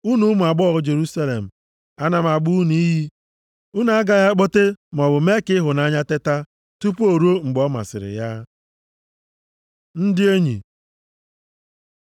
Unu ụmụ agbọghọ Jerusalem, ana m agba unu iyi, unu agaghị akpọte maọbụ mee ka ịhụnanya teta tupu ruo mgbe ọ masịrị ya. Ndị Enyi